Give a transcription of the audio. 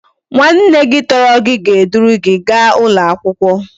Nwa nne gi toro gi ga e duru gi ga ulo akwukwo